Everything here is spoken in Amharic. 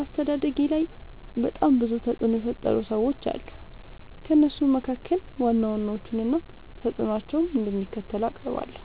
አስተዳደጌላይ በጣም ብዙ ተፅዕኖ የፈጠሩ ሰዎች አሉ። ከእነሱም መካከል ዋና ዋናዎቹን እና ተፅዕኖቸው እንደሚከተለው አቀርባለሁ።